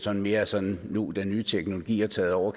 er mere sådan nu hvor den nye teknologi har taget over